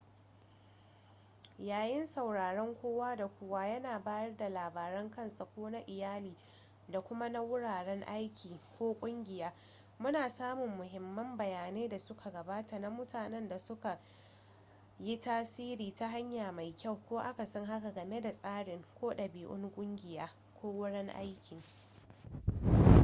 yayin sauraren kowa da kowa yana bayar da labaran kansa ko na iyali da kuma na wuraren aiki/kungiya muna samun muhimman bayanai da suka gabata na mutanen da suka yi tasiri ta hanya mai kyau ko akasin haka game da tsari ko dabi’un kungiya/wurin aiki